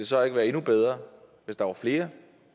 så ikke være endnu bedre hvis der var flere